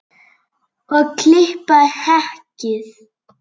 Og klippa hekkið?